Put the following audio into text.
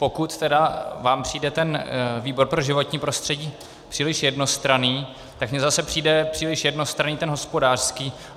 Pokud tedy vám přijde ten výbor pro životní prostředí příliš jednostranný, tak mně zase přijde příliš jednostranný ten hospodářský.